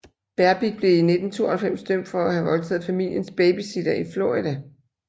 Berbick blev i 1992 dømt for at have voldtaget familiens babysitter i Florida